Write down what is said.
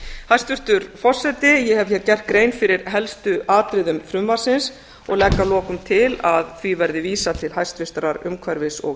hæstvirtur forseti ég hef hér gert grein fyrir helstu atriðum frumvarpsins og legg að lokum til að því verði vísað til hæstvirtrar umhverfis og